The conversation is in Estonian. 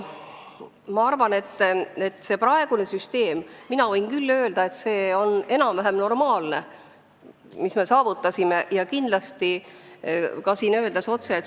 Ma usun, et pakutud süsteem on enam-vähem normaalne ja kindlasti ka solidaarsem.